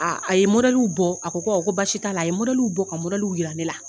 A ye bɔ a ko ko basi t'a la, a ye bɔ ka jira ne la